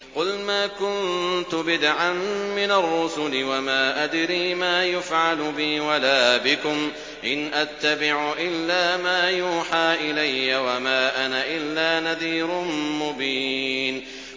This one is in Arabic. قُلْ مَا كُنتُ بِدْعًا مِّنَ الرُّسُلِ وَمَا أَدْرِي مَا يُفْعَلُ بِي وَلَا بِكُمْ ۖ إِنْ أَتَّبِعُ إِلَّا مَا يُوحَىٰ إِلَيَّ وَمَا أَنَا إِلَّا نَذِيرٌ مُّبِينٌ